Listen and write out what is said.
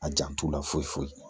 A jan t'u la foyi foyi foyi